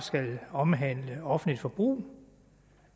omhandle offentligt forbrug